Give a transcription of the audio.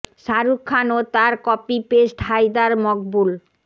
শারুখ খান ও তার copy paste Haider Maqbool